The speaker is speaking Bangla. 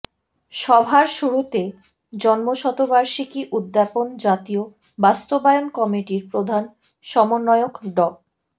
সভার শুরুতে জন্মশতবার্ষিকী উদ্যাপন জাতীয় বাস্তবায়ন কমিটির প্রধান সমন্বয়ক ড